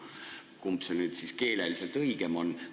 Kumb see nüüd siis keeleliselt õigem on?